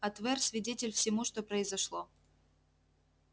а твер свидетель всему что произошло